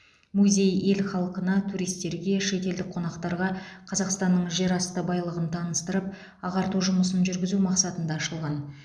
музей ел халқына туристерге шетелдік қонақтарға қазақстанның жер асты байлығын таныстырып ағарту жұмысын жүргізу мақсатында ашылған